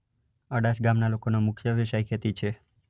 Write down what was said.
અડાસ ગામના લોકોનો મુખ્ય વ્યવસાય ખેતી છે.